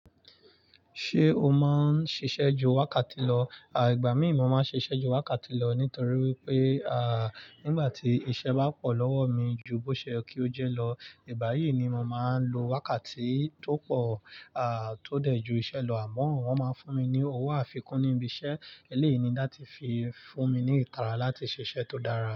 Ṣé o máa ń ṣiṣẹ́ ju wákàtí lọ? À igbà mí mo máa ń ṣiṣẹ́ ju wákàtí lọ nítorí wípé à nígbà tí iṣẹ́ bá pọ̀ lọ́wọ́ mi ju bó ṣe yẹ kí ó jẹ́ lọ, ìgbà yìí ni mo máa ń lo wákàtí tó pọ̀ à tó dẹ̀ ju iṣẹ́ lọ àmọ́ wọn máa ń fún mi ní owó àfikún níbi iṣẹ́ eléyii ni láti fi fún mi ní ìtara láti ṣiṣẹ́ tó dára.